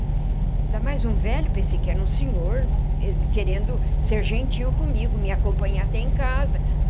Ainda mais um velho, pensei que era um senhor, querendo ser gentil comigo, me acompanhar até em casa.